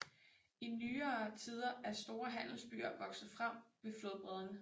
I nyere tider er store handelsbyer vokset frem ved flodbredderne